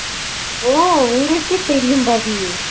ஓ உங்களுக்கே தெரியும் தானே